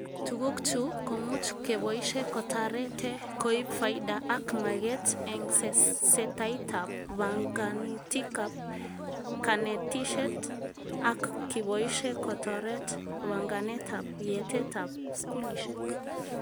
Tuguk chu komuch keboishe kotarete koib faida ak maget eng setaitab banganutikab kanetishet ak kiboishe kotoret banganetab yatetab skulishek